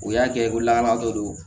U y'a kɛ ko lakana dɔ do